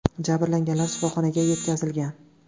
Jabrlanganlar shifoxonaga yetkazilgan.